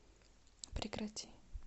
прекрати